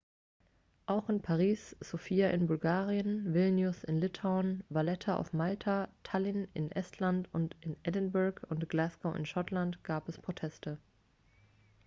auch in paris sofia in bulgarien vilnius in litauen valletta auf malta tallinn in estland und in edinburgh und glasgow in schottland gab es proteste